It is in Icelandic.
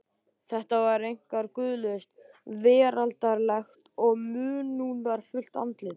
Þetta var einkar guðlaust, veraldlegt og munúðarfullt andlit.